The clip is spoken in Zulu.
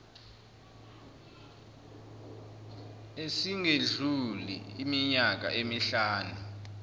esingedluli iminyaka emihlanu